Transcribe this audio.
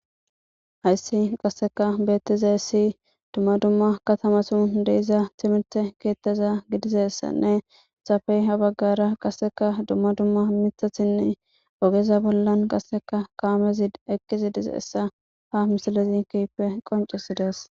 Hayisa qasekka betizayis dumma dumma katama sohoni de'eiza timirte ketaza gidizayisanne hesappe ha bagara qasekka dumma dumma mithazanne ogeza bollan qaseka kamezi eqidi dizayisa ha misilezi kehippe qoncisides.